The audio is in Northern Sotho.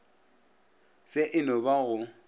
se e no ba go